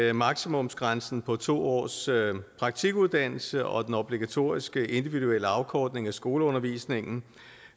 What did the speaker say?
at maksimumsgrænsen på to års praktikuddannelse og den obligatoriske individuelle afkortning af skoleundervisningen